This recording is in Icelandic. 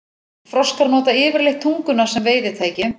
Froskar nota yfirleitt tunguna sem veiðitæki.